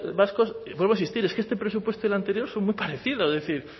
vascos vuelvo a insistir es que este presupuesto y el anterior son muy parecidos es decir